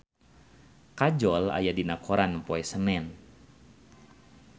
Kajol aya dina koran poe Senen